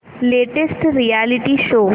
latest reality show